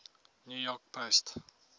new york post